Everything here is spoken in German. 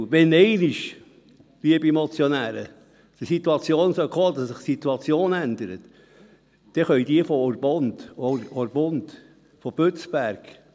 Wenn einmal, liebe Motionäre, die Situation kommen sollte, dass sich die Situation ändert, dann können die Leute aus Orpund, aus Bützberg …